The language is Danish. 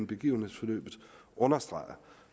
begivenhedsforløbet understreger